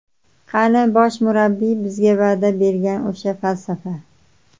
Qani bosh murabbiy bizga va’da bergan o‘sha falsafa?